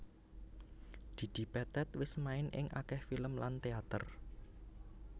Didi Petet wis main ing akèh film lan téater